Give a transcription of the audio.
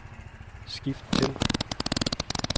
skift til